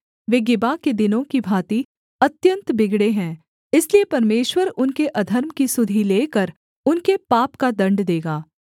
वे Gibeah के दिनों की भाँति अत्यन्त बिगड़े हैं इसलिए परमेश्वर उनके अधर्म की सुधि लेकर उनके पाप का दण्ड देगा